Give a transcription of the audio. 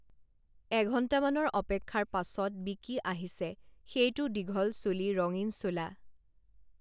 এঘন্টামানৰ অপেক্ষাৰ পাছত বিকি আহিছে সেইটো দীঘল চুলি ৰঙীণ চোলা